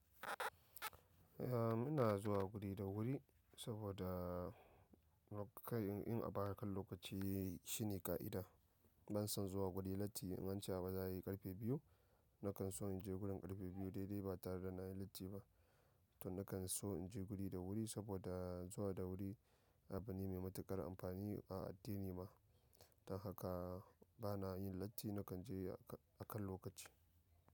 Ah muna zuwa guri da wuri saboda kai in a baya kan lokaci shine ƙa'ida. Ban son zuwa guri latti in ance abu za ayi ƙarfe biyu, nakan so in je gurin ƙarfe biyu dai-dai ba tare da nayi latti ba. To nakan so in je guri da wuri saboda zuwa da wuri abu ne mai matuƙar amfani a addini ma. Don haka bana yin latti nakan je akan lokaci.